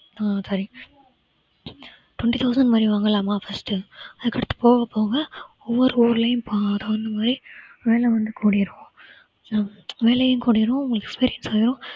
twenty thousand இந்தமாறி வாங்கலாமா first அதுக்கடுத்து போகப் போக ஒவ்வொரு ஊர்லயும் வேலை வந்து கூடிரும் so first வேலையும் கூடிரும் உங்களுக்கு experience ஆயிரும்